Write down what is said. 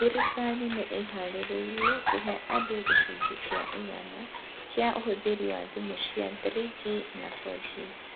Thirikari nĩ ĩĩhaarĩirie kũhe andũ gĩcunjĩ kĩa igana kĩa ũhũthĩri wa thimu cia 3G na 4G.